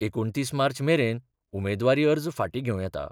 एकुणतीस मार्च मेरेन उमेदवारी अर्ज फाटीं घेवं येता.